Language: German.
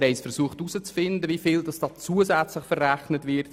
Wir haben herauszufinden versucht, wie viel hier zusätzlich verrechnet wird.